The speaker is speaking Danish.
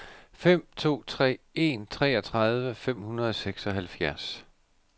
fem to tre en treogtredive fem hundrede og seksoghalvfjerds